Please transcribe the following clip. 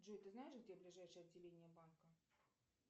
джой ты знаешь где ближайшее отделение банка